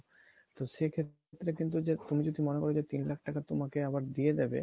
তো সেক্ষেত্রে যে তুমি যদি মনে করো যে তিন লাখ টাকা তোমাকে আবার দিয়ে দিবে